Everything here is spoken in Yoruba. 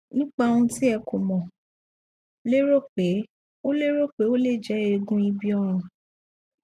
nípa ohun tí ẹ kọ mo lérò pé ó lérò pé ó lè jẹ eegun ibi ọrùn